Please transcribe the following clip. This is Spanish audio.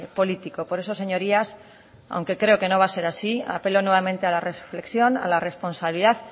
político por eso señorías aunque creo que no va a ser así apelo nuevamente a la reflexión a la responsabilidad